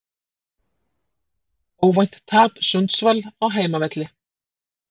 Óvænt tap Sundsvall á heimavelli